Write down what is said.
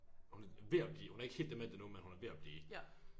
Hun er ved at blive hun er ikke helt dement endnu men hun er ved at blive